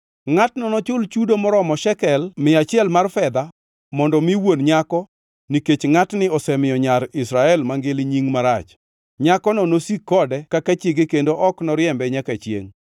Ngʼatno nochul chudo moromo sekel mia achiel mar fedha mondo mi wuon nyako nikech ngʼatni osemiyo nyar Israel mangili nying marach. Nyakono nosik kode kaka chiege kendo ok noriembe nyaka chiengʼ.